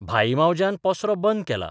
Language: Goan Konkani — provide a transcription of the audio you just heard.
भाई मावज्यान पसरो बंद केला.